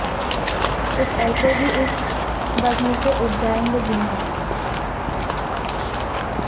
کچھ ایسے بھی اس بزم سے اٹھ جائیں گے جن کو